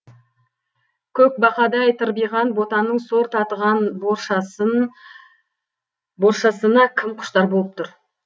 көкбақадай тырбиған ботаның сор татыған боршасын боршасына кім құштар болып тұр